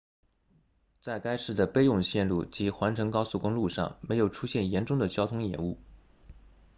在该市的备用线路即环城高速公路上没有出现严重的交通延误